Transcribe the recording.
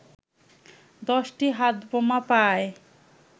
১০টি হাতবোমা পায়